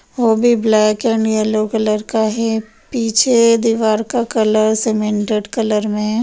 वो भी black and yellow colour का है पीछे दीवार का कलर सीमेंटेड कलर में है।